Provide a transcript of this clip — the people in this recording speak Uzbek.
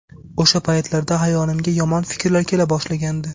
O‘sha paytlarda xayolimga yomon fikrlar kela boshlagandi.